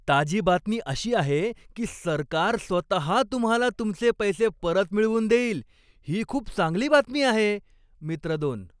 ताजी बातमी अशी आहे की सरकार स्वतहा तुम्हाला तुमचे पैसे परत मिळवून देईल. ही खूप चांगली बातमी आहे. मित्र दोन